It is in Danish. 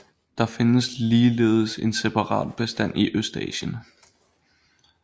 Der findes ligeledes en separat bestand i Østasien